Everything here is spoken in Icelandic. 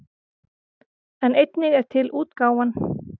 En einnig er til útgáfan